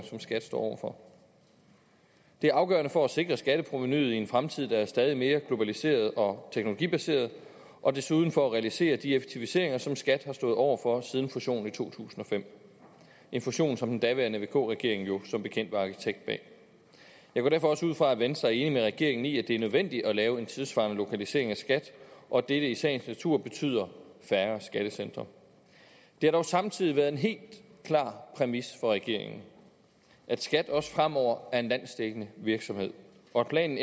som skat står over for det er afgørende for at sikre skatteprovenuet i en fremtid der er stadig mere globaliseret og teknologibaseret og desuden for at realisere de effektiviseringer som skat har stået over for siden fusionen i to tusind og fem en fusion som den daværende vk regering jo som bekendt var arkitekt bag jeg går derfor også ud fra at venstre er enig med regeringen i at det er nødvendigt at lave en tidssvarende lokalisering af skat og at dette i sagens natur betyder færre skattecentre det har dog samtidig været en helt klar præmis for regeringen at skat også fremover er en landsdækkende virksomhed og at planen